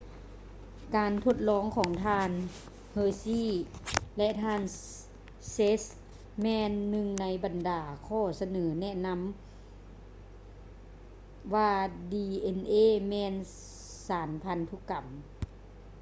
ການທົດລອງຂອງທ່ານ ເຮີຊີ່ hershey ແລະ ທ່ານ ເຊສ໌ chase ແມ່ນໜຶ່ງໃນບັນດາຂໍ້ສະເໜີແນະຊັ້ນນຳວ່າ ດີເອັນເອ dna ແມ່ນ ສານພັນທຸກຳ